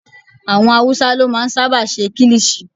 Àwọn awúsá ló máa n sáábà ṣe kílìṣí